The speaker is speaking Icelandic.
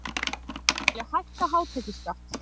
Vilja hækka hátekjuskatt